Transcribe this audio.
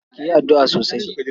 Ki yi addu'a sosai.